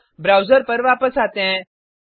अब ब्राउज़र पर वापस आते हैं